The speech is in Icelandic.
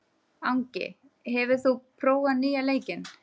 Angi, hefur þú prófað nýja leikinn?